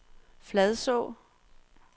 Fladså